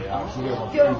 Vay, yazığa bax.